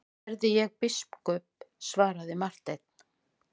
Verði ég biskup, svaraði Marteinn.